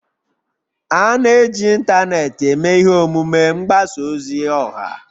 A na-eji ịntanetị eme ihe omume mgbasa ozi ọha